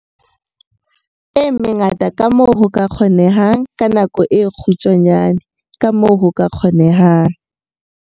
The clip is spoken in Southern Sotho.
e mengata kamoo ho ka kgonehang ka nako e kgutshwane kamoo ho ka kgonehang.